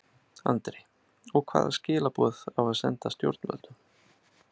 Andri: Og hvaða skilaboð á að senda stjórnvöldum?